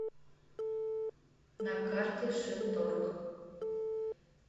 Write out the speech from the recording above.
на карте шинторг